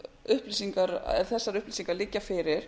það að ef þessar upplýsingar liggja fyrir